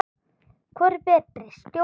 Hvor er betri stjóri?